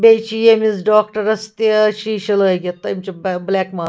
بیٚیہِ چھ ییٚمِس ڈاکڑس تہِ شیٖشہٕ لٲگِتھ تہٕ أمۍچھ بلیک .ما